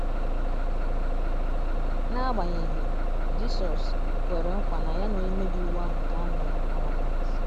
na agbanyeghi, Jisọs kwere nkwa na ya na onye mmebi iwu ahụ ga - anọ na Paradaịs.